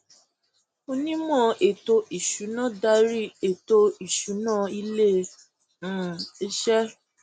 onímò ètò ìsúná darí ètò ìsúná ilé um iṣẹ